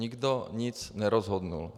Nikdo nic nerozhodl.